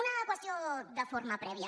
una qüestió de forma prèvia